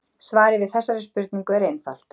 Svarið við þessari spurningu er einfalt.